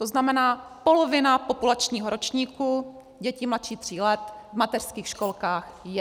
To znamená, polovina populačního ročníku děti mladších tří let v mateřských školkách je.